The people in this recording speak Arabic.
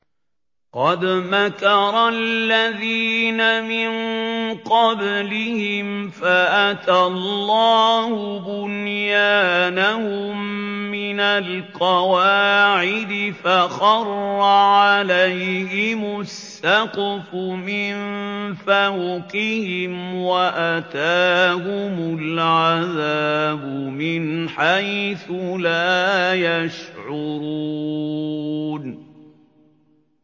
قَدْ مَكَرَ الَّذِينَ مِن قَبْلِهِمْ فَأَتَى اللَّهُ بُنْيَانَهُم مِّنَ الْقَوَاعِدِ فَخَرَّ عَلَيْهِمُ السَّقْفُ مِن فَوْقِهِمْ وَأَتَاهُمُ الْعَذَابُ مِنْ حَيْثُ لَا يَشْعُرُونَ